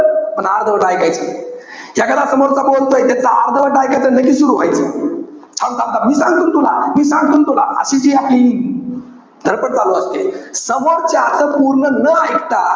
पण अर्धवट ऐकायच. एखादा समोरचा बोलतोय. पण त्याच अर्धवट ऐकायचं. लगेच सुरु व्हायचं. थांब-थांब-थांब मी सांगतो ना तुला. मी सांगतो ना तुला. अशी जी आपली धडपड चालू असते. समोरच्याच पूर्ण न इकता,